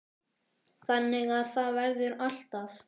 Þannig að það verður alltaf.